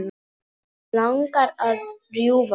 Mig langar að rjúfa það.